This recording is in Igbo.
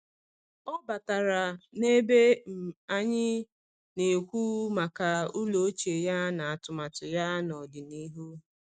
Ọ batara n’ebe um anyị na-ekwu maka ụlọ ochie ya na atụmatụ ya n’ọdịnihu.